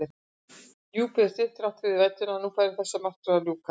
Djúpið var stillt þrátt fyrir vætuna, að nú færi þessari martröð að ljúka.